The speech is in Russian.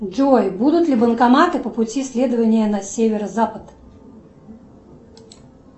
джой будут ли банкоматы по пути следования на северо запад